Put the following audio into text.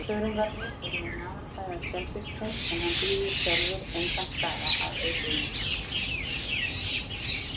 Þörungarnir eru ein aðalfæða skelfisksins, en hann bíður sjálfur engan skaða af eitrinu.